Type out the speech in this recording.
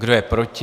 Kdo je proti?